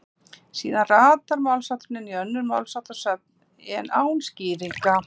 síðar ratar málshátturinn inn í önnur málsháttasöfn en án skýringa